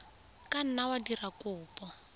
ka nna wa dira kopo